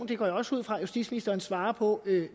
det går jeg også ud fra justitsministeren svarer på